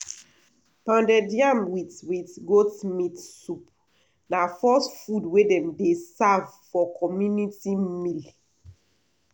pounded yam with with goat meat soup na first food wey dem dey serve for community meal.